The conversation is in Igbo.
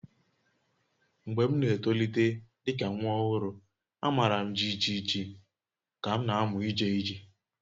Mgbe m n'etolite dị ka nwa ọhụrụ, a mara m jijiji ka m na-amụ ije ije